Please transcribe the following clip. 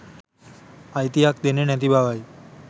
අයිතියක් දෙන්නේ නැති බවයි